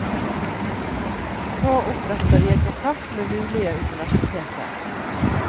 Nå oppretter jeg kontakt med mulige universiteter.